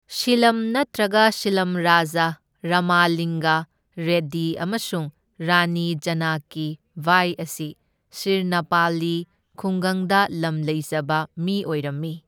ꯁꯤꯂꯝ ꯅꯠꯇ꯭ꯔꯒ ꯁꯤꯂꯝ ꯔꯥꯖꯥ ꯔꯥꯃꯥꯂꯤꯡꯒ ꯔꯦꯗꯗꯤ ꯑꯃꯁꯨꯡ ꯔꯥꯅꯤ ꯖꯥꯅꯀꯤ ꯕꯥꯏ ꯑꯁꯤ ꯁꯤꯔꯅꯥꯄꯥꯜꯂꯤ ꯈꯨꯡꯒꯪꯗ ꯂꯝ ꯂꯩꯖꯕ ꯃꯤ ꯑꯣꯏꯔꯝꯏ꯫